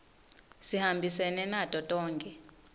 sihambisene nato tonkhe